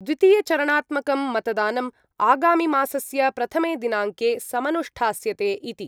द्वितीयचरणात्मकं मतदानम् आगामिमासस्य प्रथमे दिनाङ्के समनुष्ठास्यते इति।